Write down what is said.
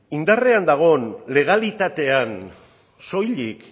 indarrean dagoen legalitatean soilik